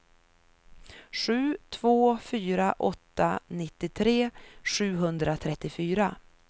sju två fyra åtta nittiotre sjuhundratrettiofyra